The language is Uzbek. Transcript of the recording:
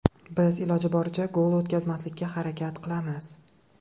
Biz iloji boricha gol o‘tkazmaslikka harakat qilamiz.